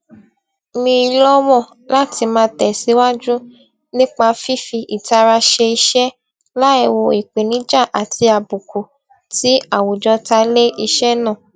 mí lọwọ láti máa tẹsíwáju nípa fífi ìtara ṣe iṣẹ láìwo ìpèníjà àti àbùkù tí àwùjọ ta lé iṣẹ náà